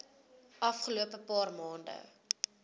afgelope paar maande